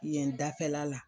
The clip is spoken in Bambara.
Yen dafɛla la.